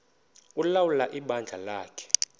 ulawula ibandla lakhe